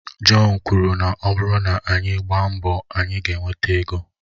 John kwuru na ọ bụrụ na anyị agbaa mbọ, anyị ga-enweta ego